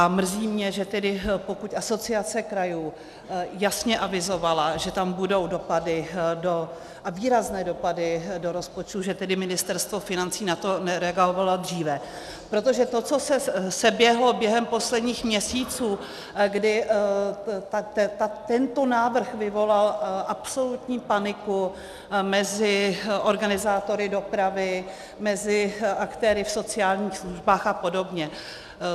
A mrzí mě, že pokud Asociace krajů jasně avizovala, že tam budou dopady - a výrazné dopady - do rozpočtu, že tedy Ministerstvo financí na to nereagovalo dříve, protože to, co se seběhlo během posledních měsíců, kdy tento návrh vyvolal absolutní paniku mezi organizátory dopravy, mezi aktéry v sociálních službách a podobně.